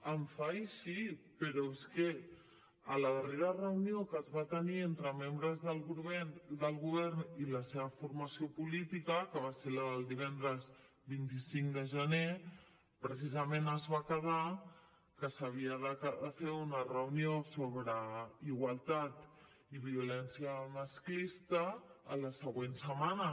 em fa així però es que en la darrera reunió que es va tenir entre membres del govern i la seva formació política que va ser la del divendres vint cinc de gener precisament es va quedar que s’havia de fer una reunió sobre igualtat i violència masclista en la següent setmana